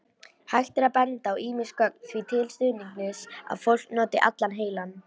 Hægt er að benda á ýmis gögn því til stuðnings að fólk noti allan heilann.